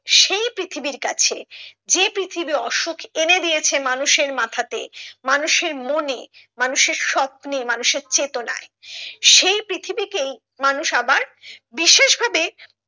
সেই পৃথিবীর কাছে যে পৃথিবী অসুখ এনে দিয়েছে মানুষের মাথাতে মানুষের মনে মানুষের স্বপ্নে মানুষের চেতনায় সেই পৃথিবীকেই মানুষ আবার বিশেষ ভাবে